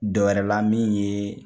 Dɔ wɛrɛla min ye